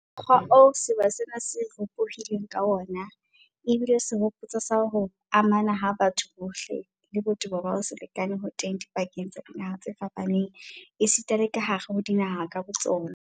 Mokgwa oo sewa sena se ropohileng ka wona ebile sehopotso sa ho amana ha batho bohle, le botebo ba ho se lekane ho teng dipakeng tsa dinaha tse fapaneng esita le kahare ho dinaha ka botsona.